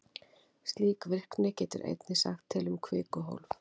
Slík virkni getur einnig sagt til um kvikuhólf.